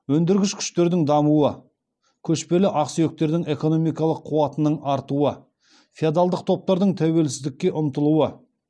өндіргіш күштердің дамуы көшпелі ақсүйектердің экономикалық қуатының артуы феодалдық топтардың тәуелсіздікке ұмтылуы